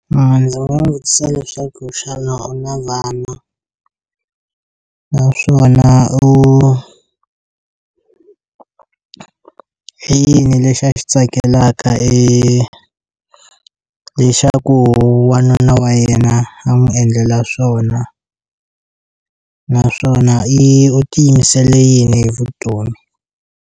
Vanhu lava va vutisa leswaku xana u na vana naswona u i yini lexi a xi tsakelaka e leswaku wanuna wa yena a n'wi endlela swona naswona i u ti yimisele yini hi vutomi.